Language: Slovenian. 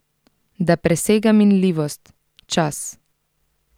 Da presega minljivost, čas.